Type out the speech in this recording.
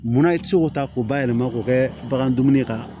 Munna i tɛ se k'o ta k'o bayɛlɛma k'o kɛ bagan dumuni kan